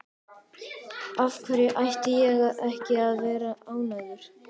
Af hverju ætti ég ekki að vera ánægður?